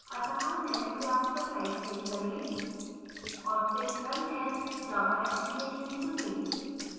अत: demo class पर right click करें और फिर run as> java application चुनें